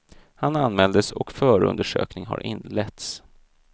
Han anmäldes och förundersökning har inletts.